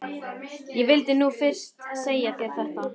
Ég vildi nú fyrst segja þér þetta.